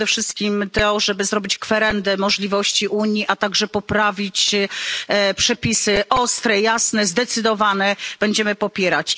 Przede wszystkim to, żeby zrobić kwerendę możliwości Unii, a także poprawić przepisy ostre, jasne, zdecydowane będziemy popierać.